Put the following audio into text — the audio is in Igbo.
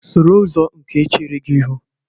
soro ụzọ nke chere gị ihu